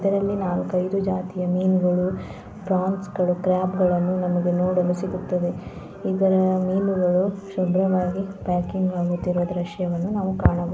ಇದರಲ್ಲಿ ನಾಲ್ಕೈದು ರೀತಿಯ ಮೀನುಗಳು ಫ್ರಾನ್ಸ್ ಗಳು ಕ್ರಾಪ್ ಗಳು ನೋಡಲು ಸಿಗುತ್ತದೆ ಇದರ ಮೀನುಗಳು ದೃಶ್ಯವನ್ನು ನೋಡಬಹುದು